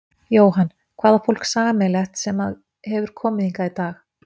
Jóhann: Hvað á fólk sameiginlegt sem að hefur komið hingað í dag?